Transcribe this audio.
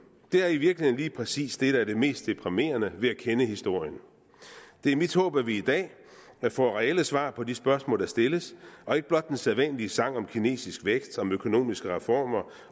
det er i virkeligheden lige præcis det der er det mest deprimerende ved at kende historien det er mit håb at vi i dag får reelle svar på de spørgsmål der stilles og ikke blot den sædvanlige sang om kinesisk vækst om økonomiske reformer